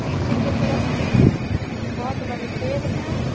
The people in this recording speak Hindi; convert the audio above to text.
पीछे के तरफ भी बहुत बड़े पैर हैं।